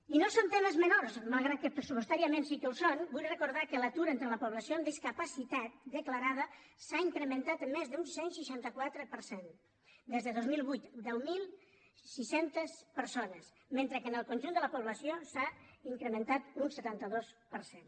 i no són temes menors malgrat que pressupostàriament sí que ho són vull recordar que l’atur entre la població amb discapacitat declarada s’ha incrementat amb més d’un cent i seixanta quatre per cent des de dos mil vuit deu mil sis cents persones mentre que en el conjunt de la població s’ha incrementat un setanta dos per cent